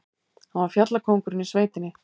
Hann var fjallkóngurinn í sveitinni.